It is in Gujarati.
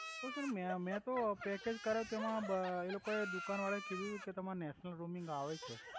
પણ સર મે મેતો પકેજ કરાયુ તો એમા બ એ લોકો એ દુકાન વાળા એ કીધુ તુ કે તમારે નેશનલ રોમિંગ આવે છે